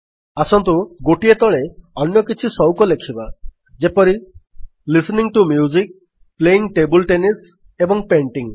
ଆସନ୍ତୁ ଗୋଟିଏ ତଳେ ଅନ୍ୟ କିଛି ସଉକ ଲେଖିବା ଯେପରି - listening to music playing table tennis ଏବଂ ପେଣ୍ଟିଂ